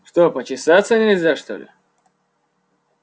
что почесаться нельзя что ли